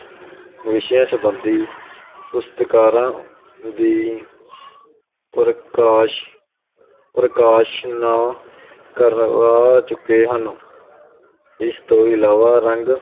ਵਿਸ਼ਿਆਂ ਸੰਬੰਧੀ ਪੁਸਤਕਾਰਾਂ ਦੀ ਪ੍ਰਕਾਸ਼ ਪ੍ਰਕਾਸ਼ਨਾ ਕਰਵਾ ਚੁੱਕੇ ਹਨ ਇਸ ਤੋਂ ਇਲਾਵਾ ਰੰਗ